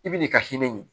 I bi n'i ka hinɛ ɲini